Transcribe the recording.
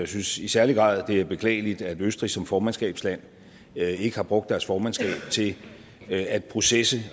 synes i særlig grad at det er beklageligt at østrig som formandsskabsland ikke har brugt deres formandskab til at processe